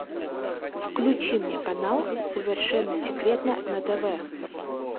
включи мне канал совершенно секретно на тв